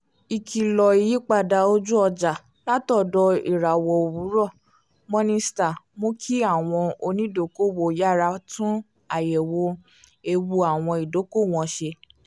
ikìlọ̀ ìyípadà ojú-ọjà látọ̀dọ̀ ìràwọ́ owurọ̀ morningstar mú kí àwọn onídokòòwò yára tún àyẹ̀wò ewu àwọn ìdókòòwò wọn ṣe